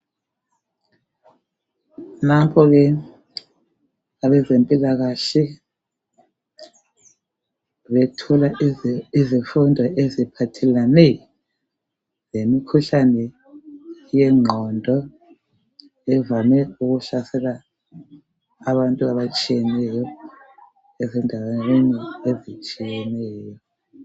Nanko ke abazempilakahle bethola izifundo eziphathelane lemikhuhlane yengqondo evame ukuhlasela abantu abatshiyeneyo ezindaweni ezitshiyeneyo.